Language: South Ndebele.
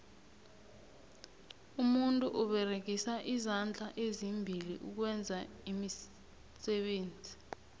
umuntu uberegisa izandla ezimbili ukwenza iimisebenzi